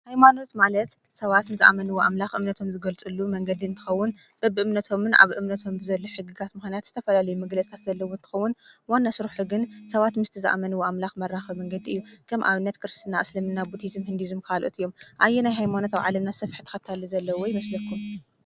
ሃይማኖት ማለት ሰባት ንዝኣመንዎ ኣምላክ ኣምልከቶም ዝገልፅሉ መንገዲ እንትከውን በቢእምነቶምን ኣብ እምነቶም ዘሎ ሕጊታት ምክንያት ብዝተፈላለየ መግለፂ ዘለዎ እንትከውን ዋና ስርሑ ግን ሰባት ምስቲ ዝኣመንዎ ኣምላክ መራከቢ መንገዲ እዩ፡፡ ከም ኣብነት ክርስትና፣ እስልምና ቡድሂዝም፣ ሂዱዝም ካልኦት እዮም፡፡ ኣየናይ ሃይማኖት ኣብ ዓለምና ዝሰፍሐ ተኸታሊ ዘለዎ ይመስለኩም?